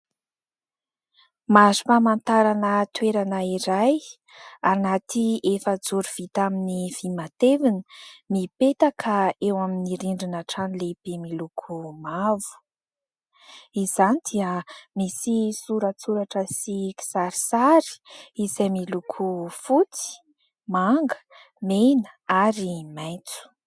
Mari-pamantarana toerana iray, anaty efa-joro vita amin'ny vy matevina, mipetaka eo amin'ny rindrina trano lehibe miloko mavo. Izany dia misy soratsoratra sy kisarisary, izay miloko : fotsy, manga, mena, ary maitso.